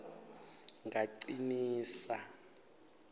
ngacinisa